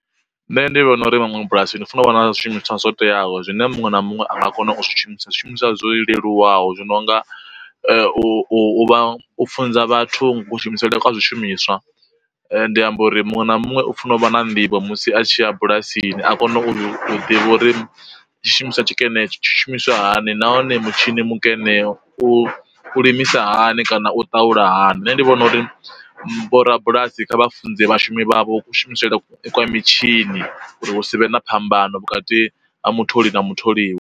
Nṋe ndi vhona uri vhaṅwe bulasini funa u wana zwishumiswa zwo teaho zwine muṅwe na muṅwe a nga kona u zwi shumisa, zwishumiswa zwo leluwaho zwi no nga u vha u funza vhathu ku shumisele kwa zwishumiswa, ndi amba uri muṅwe na muṅwe u funa u vha na nḓivho musi a tshi a bulasini a kone u ḓivha uri tshi shumiswa tshikene tshi shumiswa hani nahone mutshini mukene u limisa hani kana u ṱaula hani. Nṋe ndi vhona uri bo rabulasi kha vha funze vhashumi vha vho ku shumisele kwa mitshini uri hu savhe na phambano vhukati ha mutholi na mutholiwa.